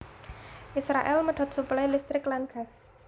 Israèl medhot suplai listrik lan gas